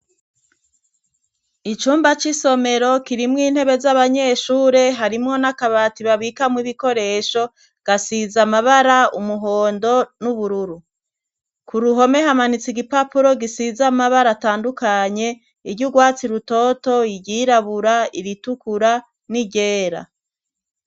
Icumba c'isomero kirimwo intebe z'abanyeshure harimwo n'akabati babikamwo ibikoresho gasiza amabara umuhondo n'ubururu ku ruhome hamanitse igipapuro gisiza mabara atandukanye iryo urwatsi rutoto iryirabura ibitukura niryera.